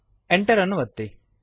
Enter ಅನ್ನು ಒತ್ತಿರಿ